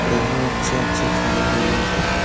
और यहाँ अच्छा-अच्छा खाना भी मिलते हैं।